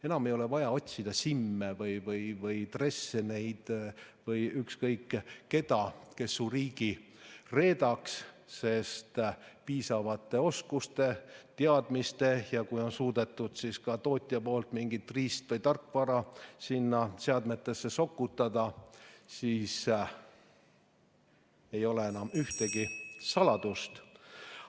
Enam ei ole vaja otsida Simme, Dresseneid või ükskõik keda, kes oma riigi reedaks, sest piisavate oskuste ja teadmiste korral, eriti siis, kui tootja on suutnud ka mingit riist- või tarkvara kuhugi seadmetesse sokutada, ei ole enam ühtegi saladust.